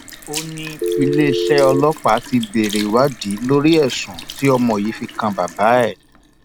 ó ní iléeṣẹ ọlọpàá ti bẹrẹ ìwádìí lórí ẹsùn tí ọmọ yìí fi kan bàbá ẹ